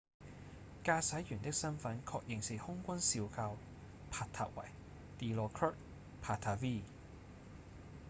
駕駛員的身分確認是空軍少校帕塔維 dilokrit pattavee